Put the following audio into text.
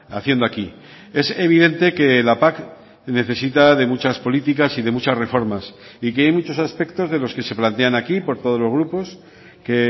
haciendo aquí es evidente que la pac necesita de muchas políticas y de muchas reformas y que hay muchos aspectos de los que se plantean aquí por todos los grupos que